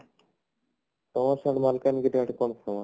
ସେଗୁଡା ସିଆଡେ ମାଲକାନଗିରି ଆଡେ ପୁରା famous